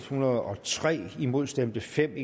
hundrede og tre imod stemte fem